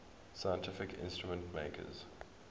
scientific instrument makers